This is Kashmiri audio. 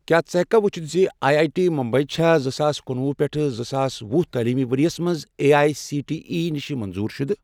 کیٛاہ ژٕ ہیٚککھا وُچھِتھ زِ آی آی ٹی بمبَے چھا زٕساس کنُۄہُ پیٹھ زٕساس ۄہُ تعلیٖمی ورۍ یَس مَنٛز A I C T E نِش منظور شُدٕ؟